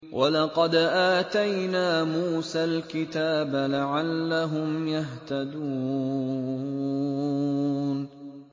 وَلَقَدْ آتَيْنَا مُوسَى الْكِتَابَ لَعَلَّهُمْ يَهْتَدُونَ